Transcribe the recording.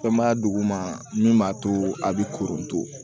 Fɛn b'a duguma min b'a to a bɛ koron